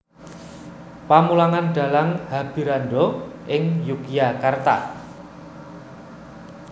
Pamulangan Dhalang Habirandha ing Yogyakarta